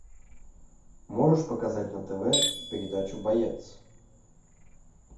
можешь показать на тв передачу боец